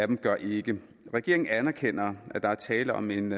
dem gør ikke regeringen anerkender at der er tale om en